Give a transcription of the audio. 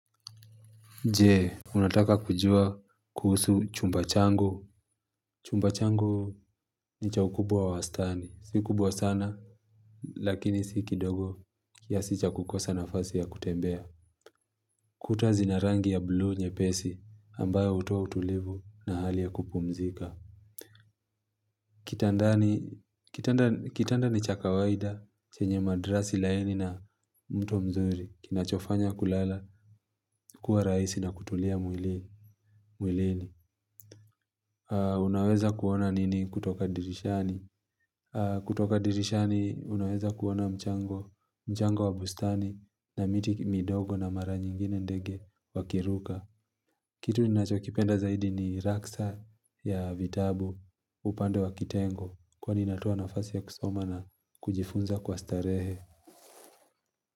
Je, unataka kujua kuhusu chumba changu. Chumba changu ni cha ukubwa wa wastani. Si kubwa sana, lakini si kidogo. Kiasi cha kukosa nafasi ya kutembea. Kuta zina rangi ya bluu nyepesi, ambayo hutoa utulivu na hali ya kupumzika. Kitanda ni cha kawaida chenye madrasi laini na mto mzuri kinachofanya kulala kuwa rahisi na kutulia mwilini. Mwilini, unaweza kuona nini kutoka dirishani. Kutoka dirishani unaweza kuona mchango, mchango wa bustani na miti midogo na mara nyingine ndege wakiruka. Kitu ninachokipenda zaidi ni raksa ya vitabu upande wa kitengo kwa inatoa nafasi ya kusoma na kujifunza kwa starehe.